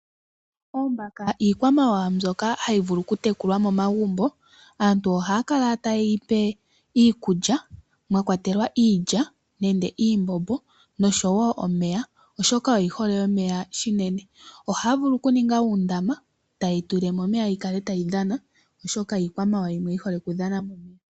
Oombaka iikwamawawa mbyoka hayi vulu okutekulwa momagumbo. Aantu ohaya kala taye dhipe iikulya mwakwatelwa iilya nenge iimbombo nosho wo omeya, oshoka odhihole omeya shinene. Ohaya vulu okuninga uundama taye dhi tulilemo omeya dhikale tadhi dhana, oshoka iikwamawawa yimwe yihole okudhana momeya.